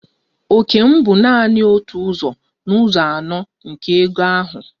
Òkè m bụ nanị otu ụzọ n'ụzọ anọ nke ego ahụ.